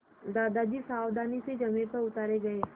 दादाजी सावधानी से ज़मीन पर उतारे गए